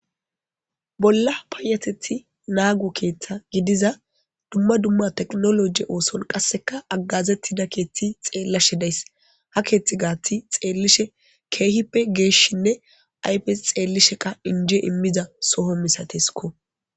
bolla payateti naago keeththa gidiza dumma dumma teknoloji ooson qasseka aggazettida keeththi xeellashe days ha keeththi gaati xeellishe keehippe geeshshinne ayfes xeellishe qa inje immiza soho misateskko